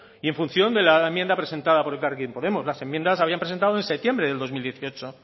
y en función de la enmienda presentado por elkarrekin podemos las enmiendas las habían presentado en septiembre de dos mil dieciocho